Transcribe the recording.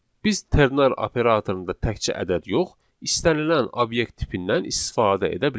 Biz ternar operatorunda təkcə ədəd yox, istənilən obyekt tipindən istifadə edə bilərik.